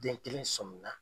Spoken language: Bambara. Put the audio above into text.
Den kelen somin na.